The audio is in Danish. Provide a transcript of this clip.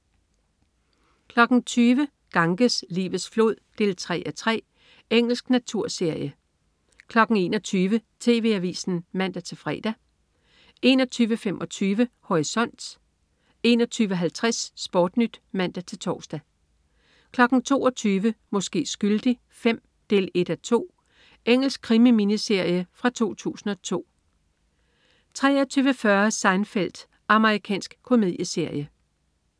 20.00 Ganges, livets flod 3:3. Engelsk naturserie 21.00 TV Avisen (man-fre) 21.25 Horisont 21.50 SportNyt (man-tors) 22.00 Måske skyldig V 1:2. Engelsk krimi-miniserie fra 2002 23.40 Seinfeld. Amerikansk komedieserie